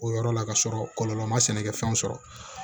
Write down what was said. O yɔrɔ la ka sɔrɔ kɔlɔlɔ ma sɛnɛkɛ fɛnw sɔrɔ